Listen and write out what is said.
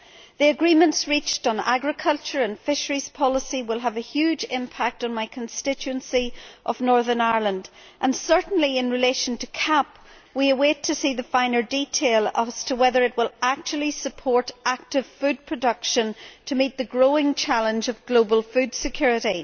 The agreements reached on agriculture and fisheries policy will have a huge impact on my constituency of Northern Ireland, and certainly in relation to the CAP we are waiting to see the finer detail as to whether it will actually support active food production to meet the growing challenge of global food security.